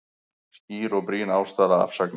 Skýr og brýn ástæða afsagnar